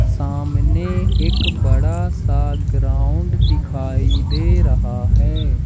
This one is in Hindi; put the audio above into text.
सामने एक बड़ा सा ग्राउंड दिखाई दे रहा है।